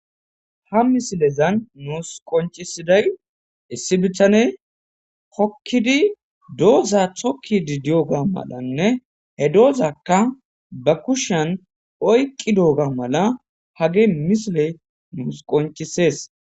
Ha missilezan nus qonccisiday issi miththan hookidi dooza tokkidi diyyoba maalanne he doozakka ba kushshen oyqqidobba maala ha missiley nussi qonccisses.